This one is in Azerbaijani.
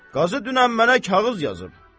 Qazı dünən mənə kağız yazıb.